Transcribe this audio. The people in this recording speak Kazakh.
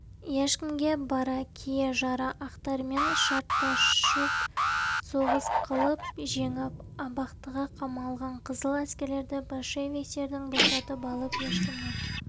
ешкімге бара кие-жара ақтармен шартта-шұрт соғыс қылып жеңіп абақтыға қамалған қызыл әскерлерді большевиктерді босатып алып ешкімнен